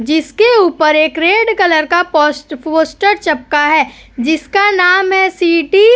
जिसके ऊपर एक रेड कलर का पोस्ट पोस्टर चिपका है जिसका नाम है सिटी --